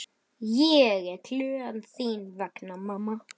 Ég er glöð þín vegna mamma.